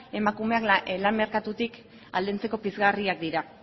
emakumeak lan merkatutik aldentzeko pizgarriak dira